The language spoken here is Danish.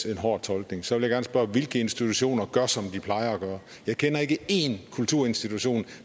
en hård tolkning så vil jeg gerne spørge hvilke institutioner gør som de plejer at gøre jeg kender ikke én kulturinstitution